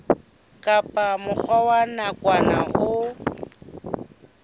kapa mokgatlo wa nakwana o